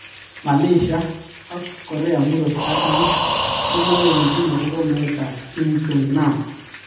Malaysia ak K.murot katam komoyochin akobo meet tab Kim Jong nam